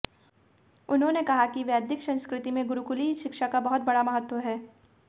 उन्होंने कहा कि वैदिक संस्कृति में गुरुकुलीय शिक्षा का बहुत बड़ा महत्व है